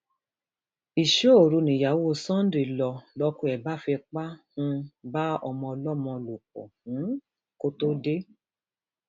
iṣọoru nìyàwó sunday ló lọkọ ẹ bá fipá um bá ọmọ ọlọmọ lò pọ um kó tóó dé